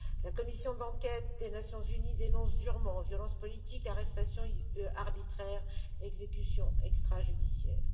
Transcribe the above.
La commission d'enquête des Nations unies dénonce durement violences politiques, arrestations arbitraires et exécutions extrajudiciaires.